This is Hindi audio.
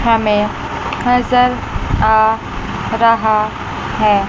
हमें नजर आ रहा है।